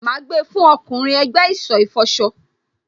Má gbà fún ọkùnrin ẹ̀gbẹ́ ìsọ̀ ìfọṣọ.